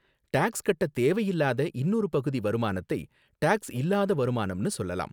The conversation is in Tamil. டாக்ஸ் கட்ட தேவையில்லாத இன்னொரு பகுதி வருமானத்தை டாக்ஸ் இல்லாத வருமானம்னு சொல்லலாம்.